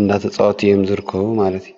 እናተፃወቱ እዮም ዝርከቡ ማለት እዩ።